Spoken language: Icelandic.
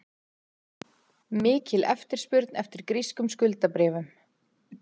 Mikil eftirspurn eftir grískum skuldabréfum